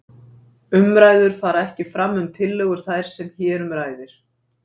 Umræður fara ekki fram um tillögur þær sem hér um ræðir.